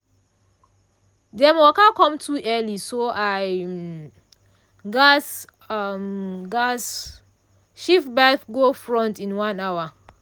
dem waka come too early so i um gas um gas shift my baff go front in one hour.